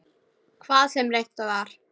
Hvað sem reynt var.